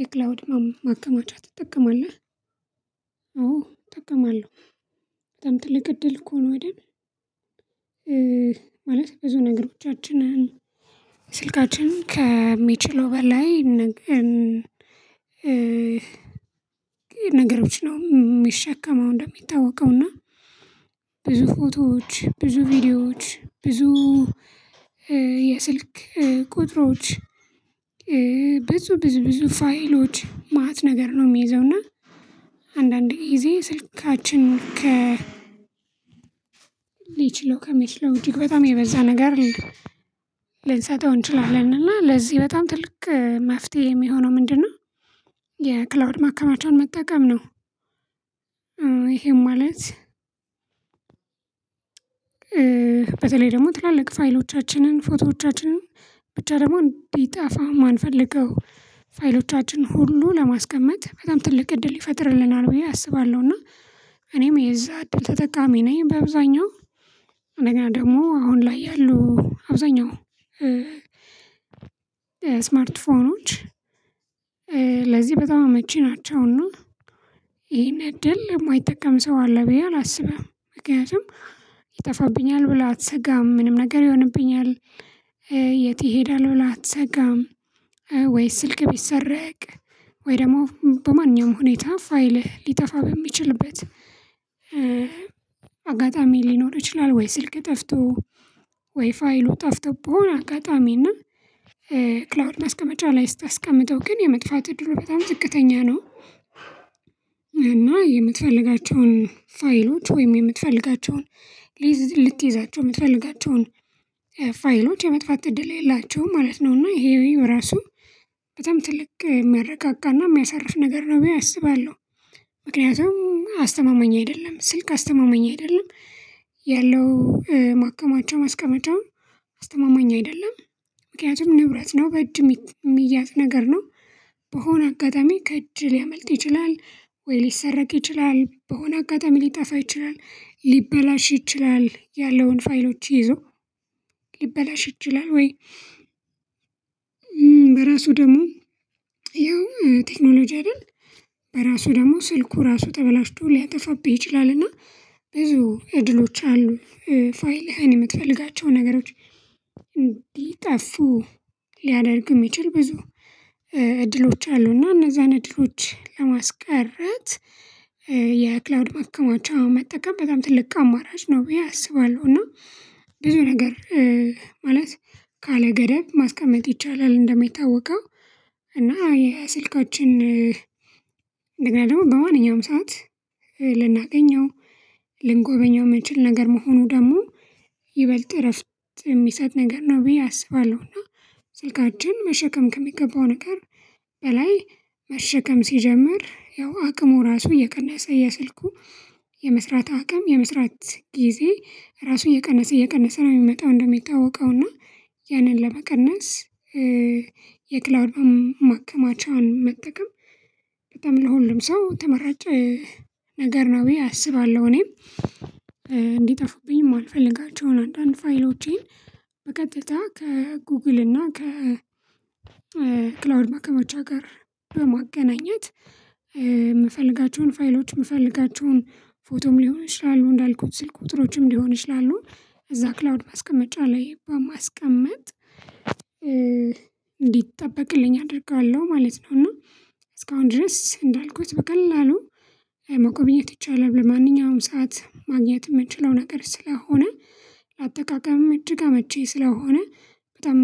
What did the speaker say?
የክላውድ ማከማቻ ትጠቀማለህ? አዎ እጠቀማለሁ። በጣም ትልቅ እድል እኮ ነው አይደል ማለት ብዙ ነገሮቻችንን ስልካችን ከሚችለው በላይ ነገር ነገሮች ነው የሚሸከመው እንደሚታወቀው እና ብዙ ፎቶዎች፣ ብዙ ቪዲዮዎች፣ ብዙ የስልክ ቁጥሮች፣ ብዙ ብዙ ፋይሎች ማአት ነገር ነው የሚይዘው እና አንዳንድ ጊዜ ስልካችን ከ ሊችለው ከሚችለው ውጪ በጣም የበዛ ነገር ልንሰጠው እንችላለን እና ለዚህ በጣም ትልቅ መፍትሄ የሚሆነው ምንድነው የክላውድ ማከማቻ መጠቀም ነው ይሄ ማለት በተለይ ደግሞ ትላልቅ ፋይሎቻችንን ፎቶዎቻችንን ብቻ ደግሞ እንዲጠፋ የማንፈልገው ፋይሎቻችን ሁሉ ለማስቀመጥ በጣም ትልቅ እድል ይፈጥርልናል ብዬ አስባለሁና እኔም የዛ እድል ተጠቃሚ ነኝ በአብዛኛው እና ደግሞ አሁን ላይ ያሉ አብዛኛው ስማርት ስልኮች ለዚህ በጣም መቼ ናቸው እና እድል የማይጠቀም ሰው አለ ብዬ አላስብም ምክንያቱም ይጠፋብኛል ብለህ አትሰጋም ምንም ነገር ይሆንብኛል የት ይሄዳል ብለህ አትሰጋም ወይስ ስልክ ቢሰረቅ ወይ ደግሞ በማንኛውም ሁኔታ ፋይልህ ሊጠፋ በሚችልበት አጋጣሚ ሊኖር ይችላል ወይ ስልክ ጠፍቶ ወይ ፋይሉ ጠፍቶ በሆነ አጋጣሚ እና ክላውድ ማስቀመጫ ላይ ስታስቀምጠው ግን የመጥፋት እድሉ በጣም ጥቅተኛ ነው። እና የምትፈልጋቸውን ፋይሎች ወይም የምትፈልጋቸውን ልትይዛቸው የምትፈልጋቸውን ፋይሎች የመጥፋት እድል የላቸውም ማለት ነው እና ይሄን ራሱ በጣም ትልቅ የሚያረጋጋና የሚያሳርፍ ነገር ነው በዬ አስባለሁ። ምክንያቱም አስተማማኝ አይደለም ስልክ አስተማማኝ አይደለም ያለው ማካማቻው ማስቀመጫውም አስተማማኝ አይደለም። ምክንያቱም ንብረት ነው በእጅ የሚያዝ ነገር ነው በሆነ አጋጣሚ ከእጅ ሊያመልጥ ይችላል፣ ወይ ሊሰረቅ ይችላል፣ በሆነ አጋጣሚ ሊጠፋ ይችላል፤ ሊበላሽ ይችላል ያለውን ፋይሎች ይዞ ሊበላሽ ይችላል ወይ በራሱ ደግሞ ያው ቴክኖሎጂ አይደል በራሱ ደግሞ ስልኩ ራሱ ተበላሽቶ ሊያጠፋብህ ይችላልና ብዙ እድሎች አሉ ፋይልህን የምትፈልጋቸው ነገሮች እንዲጠፉ ሊያደርጉ የሚችል ብዙ እድሎች አሉ እና እነዛን እድሎች ለማስቀረት የክላውድ ማከማቻ መጠቀም በጣም ትልቅ አማራጭ ነው ብዬ አስባለሁ እና ብዙ ነገር ማለት ካለገደብ ማስቀመጥ ይቻላል እንደሚታወቀው እና ይሄ ስልኮችን ደግሞ በማንኛውም ሰዓት ልናገኘው ልንጎበኘው የምንችል ነገር መሆኑ ደግሞ ይበልጥ እረፍት የሚሰጥ ነገር ነው ብዬ አስባለሁ እና ስልካችን መሸከም ከሚገባው ነገር በላይ መሸከም ሲጀምር ያው አቅሙ ራሱ እየቀነሰ የስልኩ የመስራት አቅም፣ የመስራት ጊዜ ራሱ እየቀነሰ እየቀነሰ ነው የሚመጣው እንደሚታወቀው እና ያንን ለመቀነስ የክላውድ ማከማቻውን መጠቀም በጣም ለሁሉም ሰው ተመራጭ ነገር ነው አስባለሁ እኔም እንዲጠፉብኝ የማልፈልጋቸውን አንዳንድ ፋይሎቼን በቀጥታ ከጎግል እና ከ ክላውድ ማከማቻ ጋር በማገናኘት የምፈልጋቸውን ፋይሎች፣ የምፈልጋቸውን ፎቶም ሊሆን ይችላሉ እንዳልኩት ስልክ ቁጥሮችም ሊሆን ይችላሉ እዛ ክላውድ ማስቀመጫ ላይ በማስቀመጥ እንዲጠበቅልኝ አደርጋለሁ ማለት ነው እና እስካሁን ድረስ እንዳልኩት በቀላሉ መጎብኘት ይቻላል በማንኛውም ሰዓት ማግኘት የምችለው ነገር ስለሆነ ለአጠቃቀምም እጅግ አመች ስለሆነ በጣም